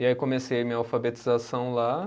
E aí comecei minha alfabetização lá.